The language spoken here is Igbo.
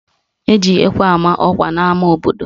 Eji ekwe ama ọkwa n'ama obodo